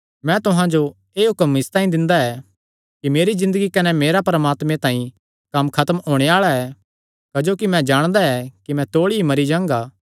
मैं तुहां जो एह़ हुक्म इसतांई दिंदा ऐ कि मेरी ज़िन्दगी कने मेरा परमात्मे तांई कम्म खत्म होणे आल़ा ऐ क्जोकि मैं जाणदा कि मैं तौल़ी ई मरी जांगा